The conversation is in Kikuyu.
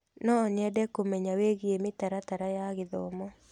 No nyende kũmenya wĩgiĩ mĩtaratara ya gĩthomo.